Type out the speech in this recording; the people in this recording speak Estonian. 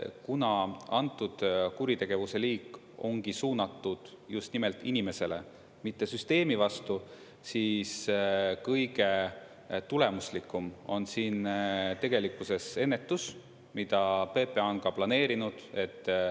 Kuna antud kuritegevuse liik ongi suunatud just nimelt inimesele, mitte süsteemi vastu, siis kõige tulemuslikum on siin tegelikkuses ennetus, mida PPA on ka planeerinud.